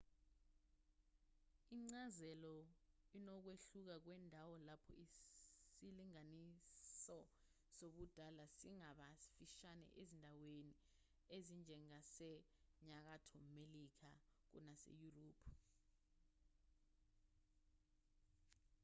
incazelo inokwehluka kwendawo lapho isilinganiso sobudala singaba sifishane ezindaweni ezinjengasenyakatho melika kunaseyurophu